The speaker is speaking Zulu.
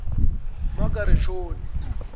magerishoni